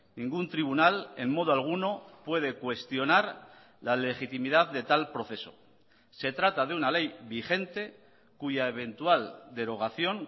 ningún tribunal en modo alguno puede cuestionar la legitimidad de tal proceso se trata de una ley vigente cuya eventual derogación